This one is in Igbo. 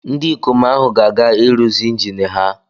Ndị ikom ahụ ga-aga ịrụzi injin ha